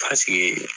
Paseke